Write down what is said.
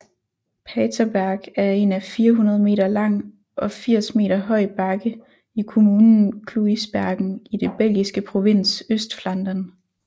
Paterberg er en 400 meter lang og 80 meter høj bakke i kommunen Kluisbergen i den belgiske provins Østflandern